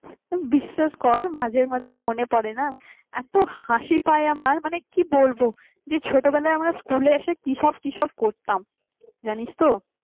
বিশ্বাস কর মাঝে মাঝে মনে পড়ে না এত হাসি পায় আমার মানে কি বলবো যে ছোটবেলায় আমরা স্কুলে এসে কি সব কি সব করতাম জানিস তো